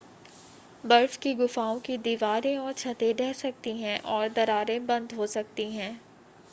बर्फ की गुफाओं की दीवारें और छतें ढह सकती हैं और दरारें बंद हो सकती हैं